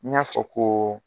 N ɲ'a fɔ ko